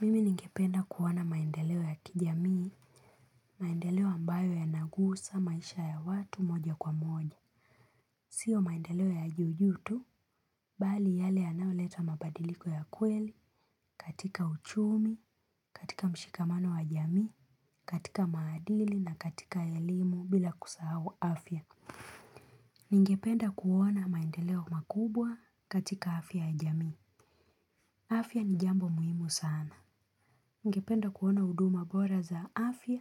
Mimi ningependa kuwana maendeleo ya kijamii, maendeleo ambayo yanagusa maisha ya watu moja kwa moja. Sio maendeleo ya juu juu tu, bali yale anaweleta mabadiliko ya kweli katika uchumi, katika mshikamano wa jamii, katika maadili na katika elimu bila kusahau afya. Ningependa kuona maendeleo makubwa katika afya ya jamii. Afya ni jambo muhimu sana. Ngependa kuona uduma bora za afya,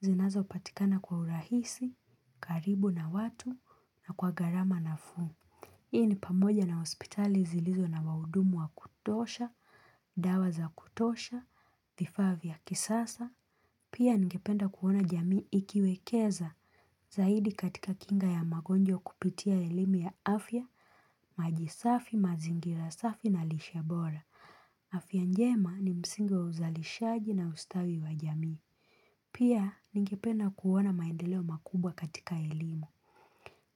zinazo patikana kwa urahisi, karibu na watu, na kwa garama nafuu. Hii ni pamoja na hospitali zilizo na waudumu wa kutosha, dawa za kutosha, vifaa vya kisasa Pia ngependa kuona jamii ikiwekeza zaidi katika kinga ya magonjwa kupitia elimu ya afya, maji safi, mazingira safi na lishe bora. Afya njema ni msingi wa uzalishaji na ustawi wa jamii. Pia ningependa kuona maendeleo makubwa katika elimu.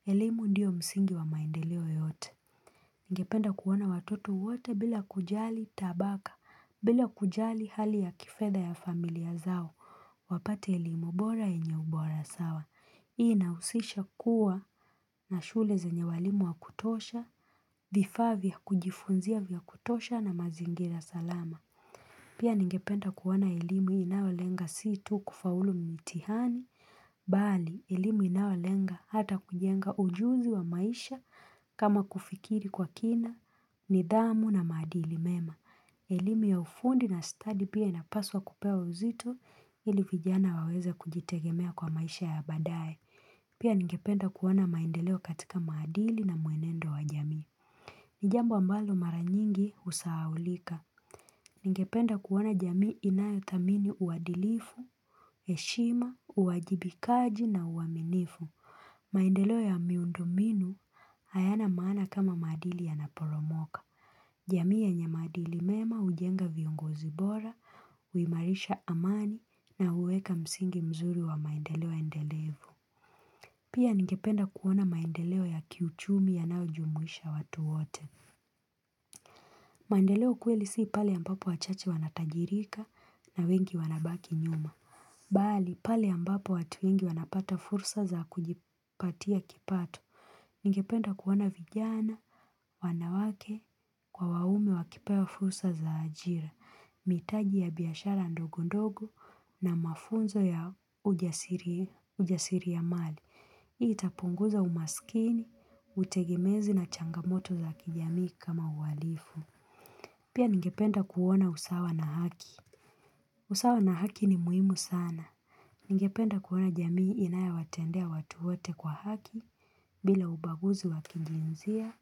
Elimu ndiyo msingi wa maendeleo yote. Ningependa kuona watoto wote bila kujali tabaka bila kujali hali ya kifedha ya familia zao wapate elimu bora yenye ubora sawa Hii inausisha kuwa na shule zenye walimu wa kutosha vifaa vya kujifunzia vya kutosha na mazingira salama. Pia ningependa kuona elimu inayolenga si tu kufaulu mtihani, bali elimu inaolenga hata kujenga ujuzi wa maisha kama kufikiri kwa kina, nidhamu na madili mema. Elimu ya ufundi na stadi pia inapaswa kupewa uzito ili vijana waweza kujitegemea kwa maisha ya baadaye. Pia ningependa kuona maendeleo katika maadili na mwenendo wa jamii. Ni jambo ambalo mara nyingi usahaulika. Ningependa kuona jamii inayo thamini uadilifu, heshima, uwajibikaji na uwaminifu. Maendeleo ya miundo mbinu hayana maana kama maadili yanaporomoka jamii yenye maadili mema ujenga viongozi bora, uimarisha amani na uweka msingi mzuri wa maendeleo endelevu. Pia ningependa kuona maendeleo ya kiuchumi yanao jumuisha watu wote. Maendeleo kweli si pale ambapo wachache wanatajirika na wengi wanabaki nyuma. Bali, pale ambapo watu wengi wanapata fursa za kujipatia kipatu. Ningependa kuona vijana, wanawake kwa waume wakipewa fursa za ajira. Mitaji ya biashara ndogo ndogo na mafunzo ya ujasiriamali. Hii itapunguza umaskini, utegemezi na changamoto za kijamii kama ualifu. Pia ningependa kuona usawa na haki. Usawa na haki ni muhimu sana. Ningependa kuona jamii inayo watendea watu wote kwa haki bila ubaguzi wa kijinsia,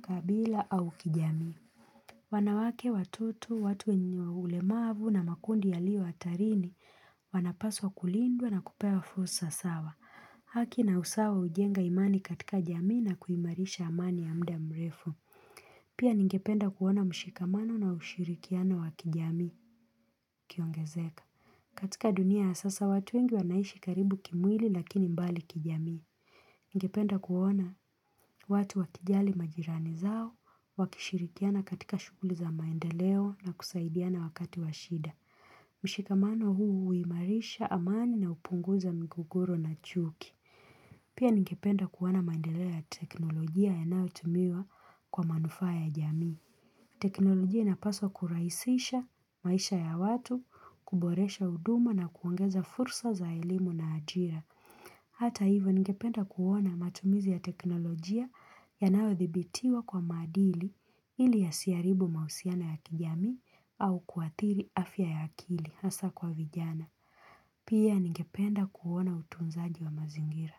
kabila au kijamii. Wanawake watoto watu wenye ulemavu na makundi yalio atarini wanapaswa kulindwa na kupewa fursa sawa. Haki na usawa ujenga imani katika jamii na kuimarisha amani ya mda mrefu. Pia ningependa kuona mshikamano na ushirikiana wa kijamii kiongezeka katika dunia ya sasa watu wengi wanaishi karibu kimwili lakini mbali kijamii Ningependa kuona watu wakijali majirani zao, wakishirikiana katika shuguli za maendeleo na kusaidiana wakati wa shida. Mshikamano huu uimarisha amani na upunguza migogoro na chuki. Pia ningependa kuona maendeleo ya teknolojia yanao tumiwa kwa manufaa ya jamii. Teknolojia inapaswa kuraisisha maisha ya watu, kuboresha huduma na kuongeza fursa za elimu na ajira. Hata hivyo ningependa kuona matumizi ya teknolojia yanaothibitiwa kwa madili ili yasiaribu mausiano ya kijamii au kuathiri afya ya akili hasa kwa vijana. Pia ningependa kuwana utunzaji wa mazingira.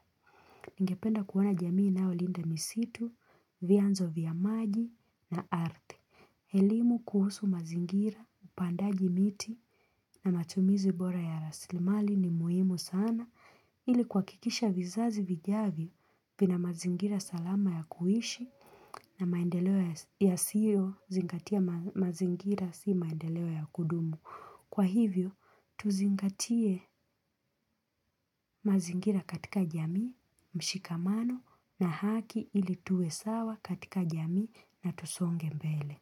Ningependa kuona jamii inaolinda misitu, vyanzo vya maji na arthi. Elimu kuhusu mazingira, upandaji miti na matumizi bora ya raslimali ni muhimu sana ili kuakikisha vizazi vijavyo vina mazingira salama ya kuishi na maendeleo yasio zingatia mazingira si maendeleo ya kudumu. Kwa hivyo, tuzingatie mazingira katika jamii, mshikamano na haki ili tuwe sawa katika jamii na tusonge mbele.